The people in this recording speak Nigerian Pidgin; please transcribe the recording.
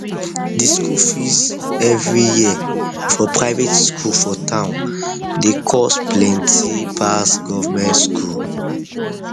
the school fees every year for private school for town dey cost plenty pass government school